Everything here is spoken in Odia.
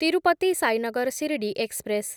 ତିରୁପତି ସାଇନଗର ଶିରିଡି ଏକ୍ସପ୍ରେସ୍‌